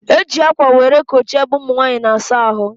E ji akwa were kochie ebe ụmụnwanyị na-asa ahụ